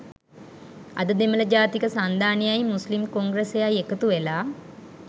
අද දෙමළ ජාතික සන්ධානයයි මුස්ලිම් කොංග්‍රසයයි එකතුවෙලා